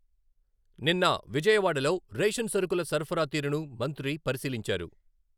నిన్న విజయవాడలో రేషన్ సరుకుల సరఫరా తీరును మంత్రి పరిశీలించారు.